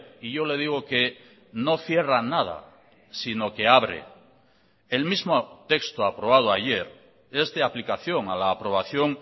y yo le digo que no cierra nada sino que abre el mismo texto aprobado ayer es de aplicación a la aprobación